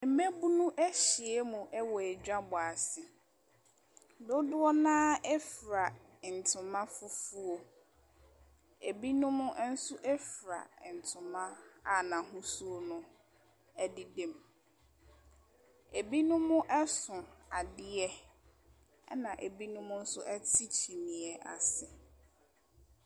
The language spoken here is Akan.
Mmaabunu ahyia mu wɔ dwabɔ ase, dodoɔ no ara fura ntoma fufuo, binom nso fura ntoma a n’ahosuo no ɛdeda mu. Binom so adeɛ na binom nso te kyineɛ ase.